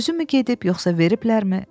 Özü mü gedib, yoxsa veriblər mi?